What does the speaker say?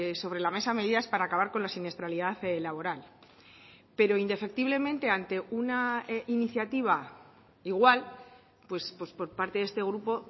sobre la mesa medidas para acabar con la siniestralidad laboral pero indefectiblemente ante una iniciativa igual pues por parte de este grupo